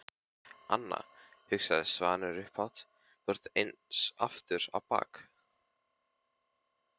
Anna, hugsaði Svanur upphátt, þú ert eins aftur á bak.